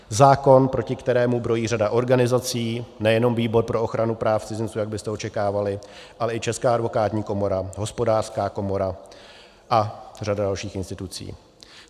Zákon, proti kterému brojí řada organizací, nejenom Výbor pro ochranu práv cizinců, jak byste očekávali, ale i Česká advokátní komora, Hospodářská komora a řada dalších institucí.